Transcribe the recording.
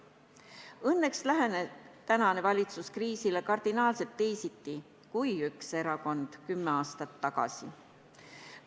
Õnneks lähenes tänane valitsus kriisile kardinaalselt teisiti kui üks erakond kümme aastat tagasi.